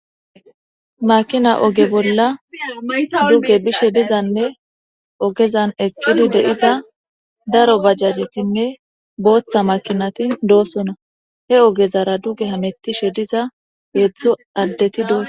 Makina ogeza bolla duge bishe dizanne ogezan eqidi diza daro bajajetinne boththa makinati dosona he ogezara duge hamutishe diza hezdzdu adeti dosona